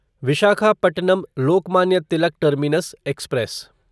Visakhapatnam Lokmanya Tilak terminus express